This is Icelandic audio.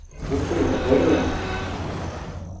Komdu nú að borða